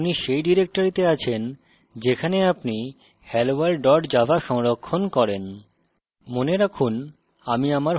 নিশ্চিত করুন যে আপনি সেই ডিরেক্টরিতে আছেন যেখানে আপনি helloworld java সংরক্ষণ করেন